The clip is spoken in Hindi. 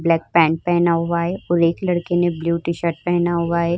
ब्लैक पेंट पहना हुआ है और एक लड़की ने ब्लू टी-शर्ट पहना हुआ है।